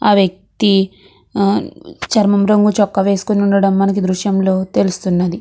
ఆ వ్యక్తి చర్మం రంగు చొక్క వేసుకొని ఉండడం మనకి దృశ్యంలో తెలుస్తున్నది.